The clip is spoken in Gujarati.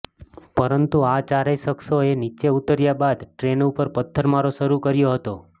પરંતુ આ ચારેય શખ્સોએ નીચે ઉતર્યા બાદ ટ્રેન ઉપર પથ્થરમારો શરુ કર્યો હતો